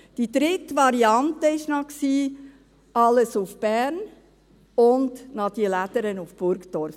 Die dritte Variante war noch, alles nach Bern und noch die «Lädere», die TF Bern, nach Burgdorf.